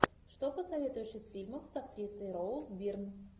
что посоветуешь из фильмов с актрисой роуз бирн